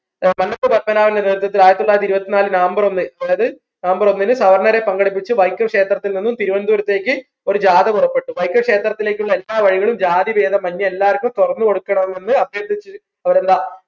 മന്നത്ത് പത്മനാഭന്റെ നേതൃത്വത്തിൽ ആയിരത്തി തൊള്ളായിരത്തി ഇരുപ്പതിന്നാലിൽ നവംബർ ഒന്ന് അതായത് നവംബർ ഒന്നിന് സവർണ്ണരെ പങ്കെടുപ്പിച്ച് വൈക്കം ക്ഷേത്രത്തിൽ നിന്നും തിരുവനന്തപുരത്തേക്ക് ഒരു ജാഥ പുറപ്പെട്ടു വൈക്കം ക്ഷേത്രത്തിലേക്ക് ഉള്ള എല്ലാ വഴികളും ജാതി ഭേദ എല്ലാർക്കും തുറന്നു കൊടുക്കണമെന്ന് അഭ്യർത്ഥിച്ച് അവരെന്താ